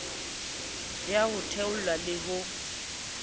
ya ho theolelwa le ho